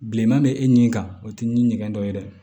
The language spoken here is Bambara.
Bilenman bɛ e nin kan o tɛ ni ɲɛgɛn dɔ ye dɛ